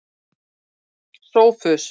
Sófus